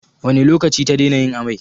Wane lokaci ta daina yin amai?